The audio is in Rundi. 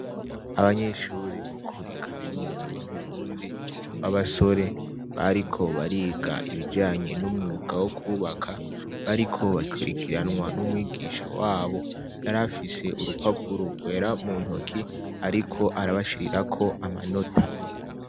Abanyeshure bokuri kaminuza yuburundi babasore bariko bariga ibijanye numwuga wokubaka bariko bakurikiranwa numwigisha wabo yarafise urupapuro rwera muntoke ariko arabashirirako amanota